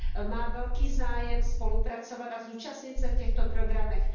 má velký zájem spolupracovat a zúčastnit se v těchto programech.